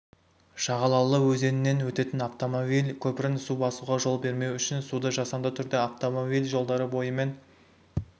шағалалы өзенінен өтетін автомобиль көпірін су басуға жол бермеу үшін суды жасанды түрде автомобиль жолдары бойымен